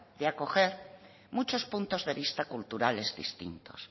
de acoger muchos puntos de vista culturales distintos